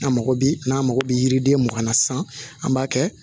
A mago bɛ n'a mago bɛ yiriden mugan na sisan an b'a kɛ